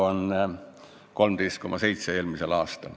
Eelmisel aastal oli 13,7 miljonit.